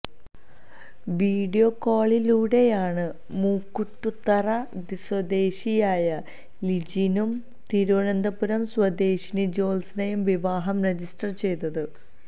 video കോളിലൂടെയാണ് മുക്കൂട്ടുത്തറ സ്വദേശിയായ ലിജിനും തിരുവനന്തപുരം സ്വദേശിനി ജ്യോത്സനയും വിവാഹം രജിസ്റ്റർ ചെയ്തത്